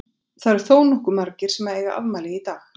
Það eru þónokkuð margir sem að eiga afmæli í dag.